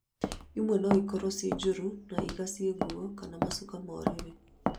Imwe no ikorwo ciĩ njũru na igacie nguo kana macuka ma ũrĩrĩ